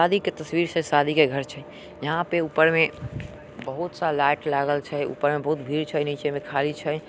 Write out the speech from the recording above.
शादी के तस्वीर छै शादी के घर छै यहां पे ऊपर मे बहुत-सा लाइट लागल छै ऊपर मे बहुत भीड़ छै नीचे मे खाली छै।